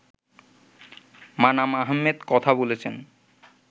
মানাম আহমেদ কথা বলেছেন